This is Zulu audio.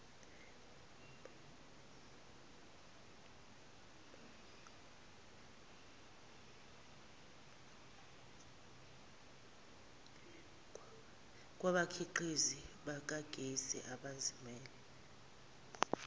kwabakhiqizi bakagesi abazimele